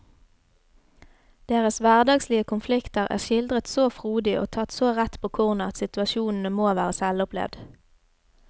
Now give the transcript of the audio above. Deres hverdagslige konflikter er skildret så frodig og tatt så rett på kornet at situasjonene må være selvopplevd.